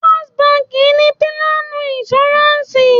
First báńkì ni pílánù ìnṣúráǹsì.